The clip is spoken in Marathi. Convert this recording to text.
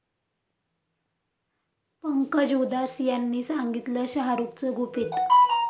पंकज उधास यांनी सांगितलं शाहरुखचं गुपित